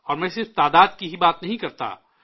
اور میں صرف تعداد کی ہی بات نہیں کرتا